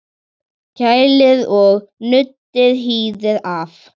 Kælið og nuddið hýðið af.